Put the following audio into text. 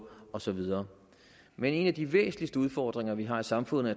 og så videre men en af de væsentligste udfordringer vi har i samfundet